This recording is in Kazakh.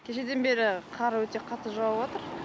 кешеден бері қар өте қатты жауватыр